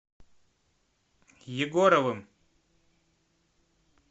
егоровым